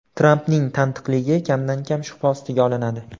Trampning tantiqligi kamdan-kam shubha ostiga olinadi.